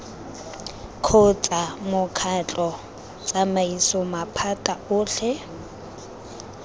kgotsa mokgatlho tsamaiso maphata otlhe